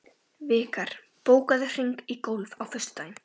Vikar, bókaðu hring í golf á föstudaginn.